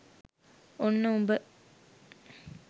ඔන්න උඹ